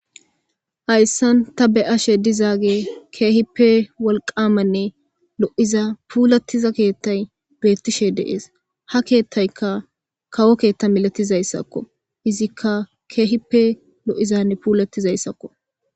hayssan ta be'ashe dizaage keehippe wolqaamanne lo7iza puulattiza keettay beettishe deees ha keethtayka kawo keetta milatizayssakko izikka keehipe lo7izanne puulattizayssakko